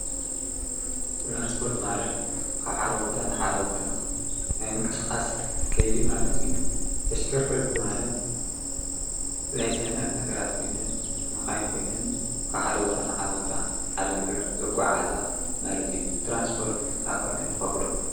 ትራንስፖርት ማለት ካብ ሓደ ቦታ ናብ ሓደ ቦታ ናይ ምንቅስቓስ ከይድ ማለት እዩ፡፡ ተሽከርከርቲ ማለት ናይ ጽፅነት ነገራት መኻይን ኮይነን ካብ ሓደ ቦታ ናብ ሓደ ቦታ ሓደ ነገር ዘጐዓዕዛ ማለት እዩ፡፡ ተራንስፖርት ኣብ ከመይ ንኸፍሎ?